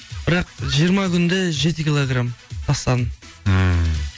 бірақ жиырма күнде жеті килограм тастадым ммм